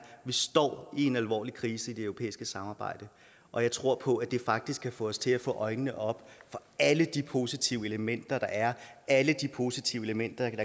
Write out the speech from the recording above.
vi står i en alvorlig krise i det europæiske samarbejde og jeg tror på at det faktisk kan få os til at få øjnene op for alle de positive elementer der er alle de positive elementer